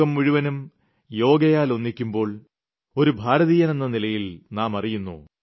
ലോകം മുഴുവനും യോഗയാൽ ഒന്നിക്കുമ്പോൾ ഒരു ഭാരതീയനെന്ന നിലയിൽ നാം അറിയുന്നു